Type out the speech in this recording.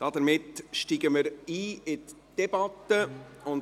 Damit steigen wir in die Debatte ein.